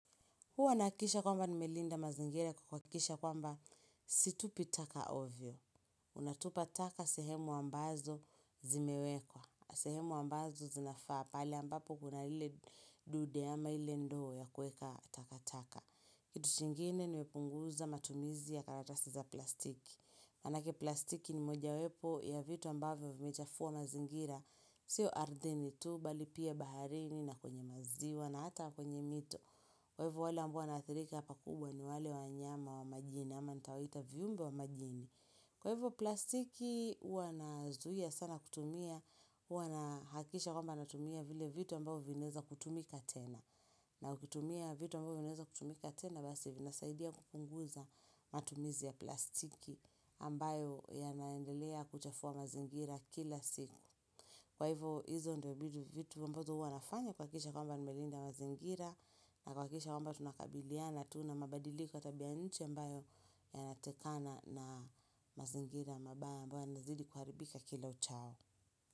Huwa nakisha kwamba nimelinda mazingire kukwakisha kwamba situpitaka ovyo. Unatupa taka sehemu ambazo zimewekwa. Sehemu ambazo zinafaa pali ambapo kuna hile dude ama hile ndoo ya kueka taka taka. Kitu chingine nikupunguza matumizi ya karatasi za plastiki. Manaki plastiki ni moja wepo ya vitu ambavyo vimejafuwa mazingira. Siyo ardeni tu bali pia baharini na kwenye maziwa na hata kwenye mito. Kwa hivyo wale ambawo naathirika hapa kubwa ni wale wanyama wa majini ama nitawaita viyumbi wa majini. Kwa hivyo plastiki uanazuhia sana kutumia, uanahakisha kwamba natumia vile vitu ambao vineza kutumika tena. Na kutumia vitu ambao vineza kutumika tena basi vinasaidia kupunguza matumizi ya plastiki ambayo yanaendelea kuchafuwa mazingira kila siku. Kwa hivyo hizo ndiwebidu vitu mbozo hua nafanya kwa kisha kwamba nimelinda mazingira na kwa kisha kwamba tunakabiliana tuna mabadilikp kwa tabianiche mbayo ya natekana na mazingira mba mbo ya nazidi kuharibika kila uchao.